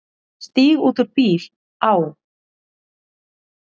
Stíg út úr bíl, á.